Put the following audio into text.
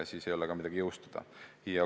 Siis ei ole midagi jõustada.